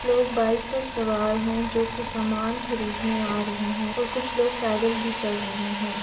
लोग बाइक पर सवार है जो कि सामान खरीदने आ रहे हैं और कुछ लोग पैदल भी चल रहे हैं।